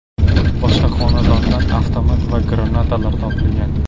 Boshqa xonadonlardan avtomat va granatalar topilgan.